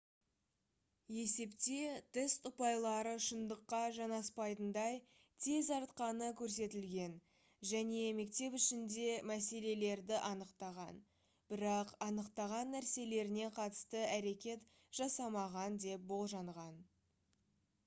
есепте тест ұпайлары шындыққа жанаспайтындай тез артқаны көрсетілген және мектеп ішінде мәселелерді анықтаған бірақ анықтаған нәрселеріне қатысты әрекет жасамаған деп болжанған